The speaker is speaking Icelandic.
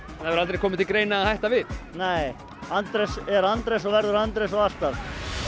hefur ekki komið til greina að hætta við nei Andrés er Andrés og verður Andrés og alltaf